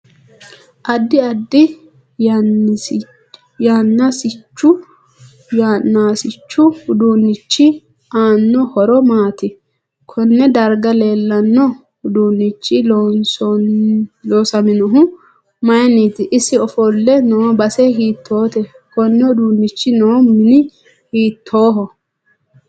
Addi addi yanaasichu uduunichi aanno horo maati konne darga leelanno uduunichi loosaminohu mayiiniiti isi ofolle noo base hiitoote koni uduunichi noo mini hiitooho